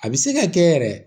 A bɛ se ka kɛ yɛrɛ